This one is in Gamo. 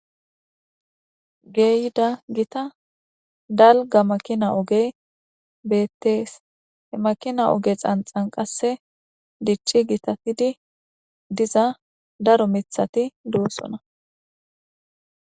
Geeyda gita dalga makina ogey beettees he makina oge xanxan qasse dichchi gitatidi diza daro mithati duossona